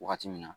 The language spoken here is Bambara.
Wagati min na